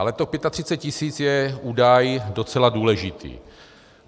Ale těch 35 tisíc je údaj docela důležitý.